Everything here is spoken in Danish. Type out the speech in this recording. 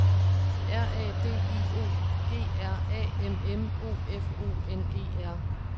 R A D I O G R A M M O F O N E R